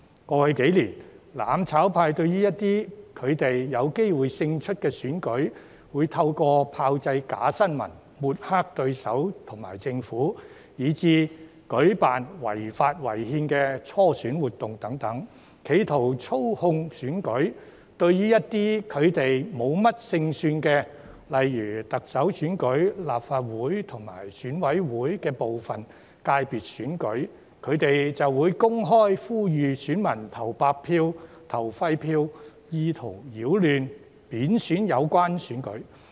過去幾年，"攬炒派"對於他們有機會勝出的選舉，會透過炮製假新聞、抹黑對手和政府以至舉辦違法、違憲的初選活動等，企圖操控選舉，而對於他們無甚勝算的選舉，例如特首選舉、立法會和選舉委員會部分界別的選舉，則會公開呼籲選民投白票、投廢票，意圖擾亂、貶損有關選舉。